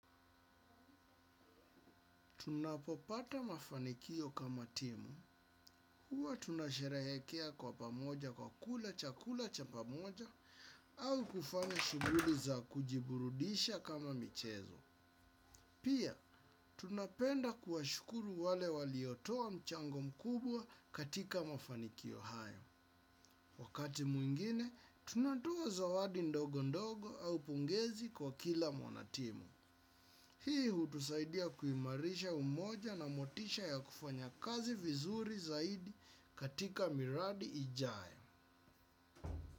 Tunapopata mafanikio kama timu, huwa tunasherehekea kwa pamoja kwa kula cha kula cha pamoja au kufanya shuguli za kujiburudisha kama michezo. Pia, tunapenda kuwashukuru wale waliotoa mchango mkubwa katika mafanikio hayo. Wakati mwingine, tunatoa zawadi ndogo ndogo au pongezi kwa kila mwanatimu. Hii hutusaidia kuimarisha umoja na motisha ya kufanya kazi vizuri zaidi katika miradi ijayo.